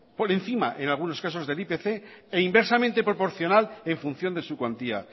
por encima en algunos casos del ipc e inversamente proporcional en función de su cuantía